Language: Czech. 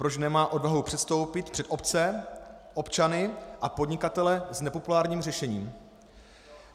Proč nemá odvahu předstoupit před obce, občany a podnikatele s nepopulárním řešením?